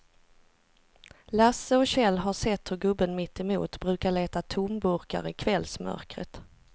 Lasse och Kjell har sett hur gubben mittemot brukar leta tomburkar i kvällsmörkret.